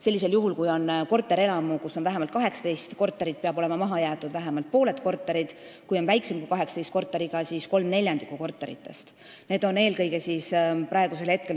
Sellisel juhul peavad korterelamus, kus on vähemalt 18 korterit, olema maha jäetud vähemalt pooled korterid, kui on väiksem kui 18 korteriga maja, siis kolm neljandikku korteritest.